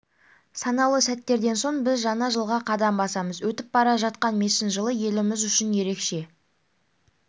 санаулы сәттерден соң біз жаңа жылға қадам басамыз өтіп бара жатқан мешін жылы еліміз үшін ерекше